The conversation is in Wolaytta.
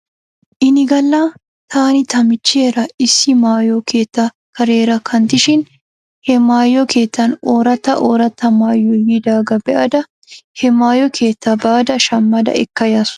Ini galla taani ta michcheera issi maayo keettaa kareera kanttishshin he maayo keettan ooratta ooratta maayoy yiidaagaa be'ada he maayo keettaa baada shammada ekka yaasu.